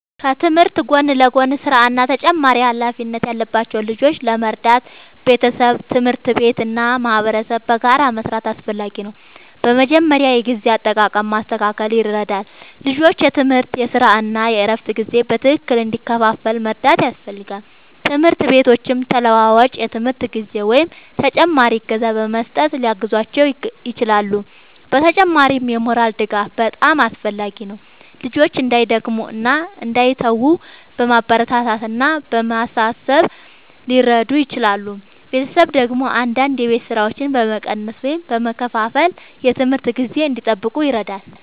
ከትምህርት ጎን ለጎን ሥራ እና ተጨማሪ ኃላፊነት ያለባቸው ልጆችን ለመርዳት ቤተሰብ፣ ትምህርት ቤት እና ማህበረሰብ በጋራ መስራት አስፈላጊ ነው። በመጀመሪያ የጊዜ አጠቃቀም ማስተካከል ይረዳል፤ ልጆቹ የትምህርት፣ የሥራ እና የእረፍት ጊዜ በትክክል እንዲከፋፈል መርዳት ያስፈልጋል። ትምህርት ቤቶችም ተለዋዋጭ የትምህርት ጊዜ ወይም ተጨማሪ እገዛ በመስጠት ሊያግዟቸው ይችላሉ። በተጨማሪም የሞራል ድጋፍ በጣም አስፈላጊ ነው፤ ልጆቹ እንዳይደክሙ እና እንዳይተዉ በማበረታታት እና በማሳሰብ ሊረዱ ይችላሉ። ቤተሰብ ደግሞ አንዳንድ የቤት ሥራዎችን በመቀነስ ወይም በመከፋፈል የትምህርት ጊዜ እንዲጠብቁ ይረዳል።